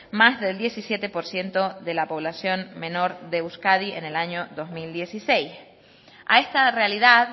más del diecisiete por ciento de la población menor de euskadi en el año dos mil dieciséis a esta realidad